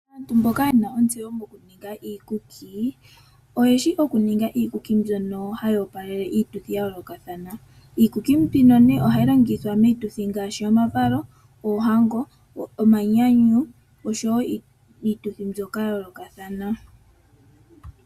Aantu mboka yena ontseyo mokuninga iikuki oyeshi oku ninga iikuki mbyono hayi opalele iituthi ya yoolokathana. Iikuki mbino ohayi longithwa miituthi ngaashi; omavalo, oohango, omanyanyu osho wo iituthi mbyoka ya yoolokathana.